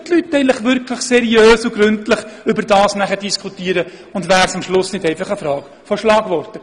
Könnten die Leute dies dann wirklich seriös und gründlich diskutieren, oder käme es nicht am Ende einfach zu einem Abtausch von Schlagworten?